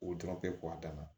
O dɔrɔn tɛ a dan na